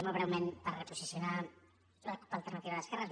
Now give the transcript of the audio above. molt breument per posicionar la cup · alternativa d’esquerres